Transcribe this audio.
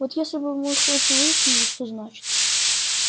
вот если бы мы хоть выяснили что значит